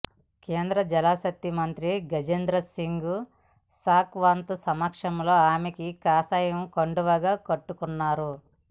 కేంద్ర జలశక్తి మంత్రి గజేంద్రసింగ్ షెకావత్ సమక్షంలో ఆమె కాషాయ కండువా కప్పుకొన్నారు